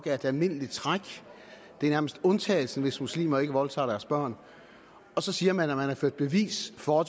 et almindeligt træk det er nærmest undtagelsen hvis muslimer ikke voldtager deres børn og så siger man at man har ført bevis for